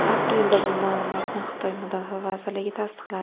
Aprelda bu ma’lumotni Xitoy mudofaa vazirligi tasdiqladi.